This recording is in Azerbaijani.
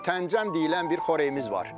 Mütəncəm deyilən bir xörəyimiz var.